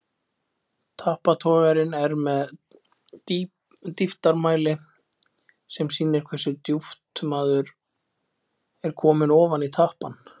Tappatogarinn er með dýptarmæli sem sýnir hversu djúpt maður er kominn ofan í tappann.